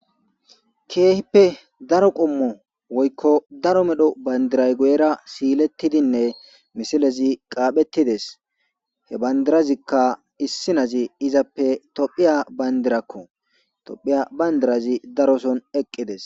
Keehippe daro qoommo woykko daro medho bandiray guyera silettidinne misilezii qaphettides he bandirazikka issinezii izappe tophphiya bandirakko tophphiya bandirazi daroson eeqidees